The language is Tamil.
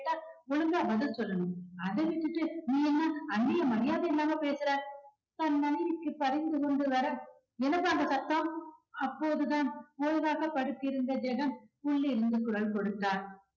ஒழுங்கா பதில் சொல்லணும் அதை விட்டுட்டு நீ என்ன அண்ணிய மரியாதை இல்லாம பேசுற. தன் மனைவிக்கு பரிந்து கொண்டு வர என்னப்பா அங்க சத்தம் அப்போதுதான் ஓய்வாக படுத்திருந்த ஜெகன் உள்ளே இருந்து குரல் கொடுத்தார்.